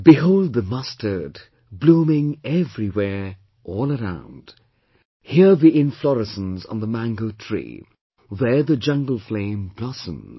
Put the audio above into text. Behold the mustard blooming everywhere, all around Here the inflorescence on the mango tree, there the Jungle Flame blossoms